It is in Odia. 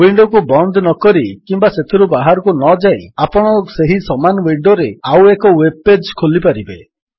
ୱିଣ୍ଡୋକୁ ବନ୍ଦ ନକରି କିମ୍ୱା ସେଥିରୁ ବାହାରକୁ ନଯାଇ ଆପଣ ସେହି ସମାନ ୱିଣ୍ଡୋରେ ଆଉଏକ ୱେବ୍ ପେଜ୍ ଖୋଲିପାରିବେ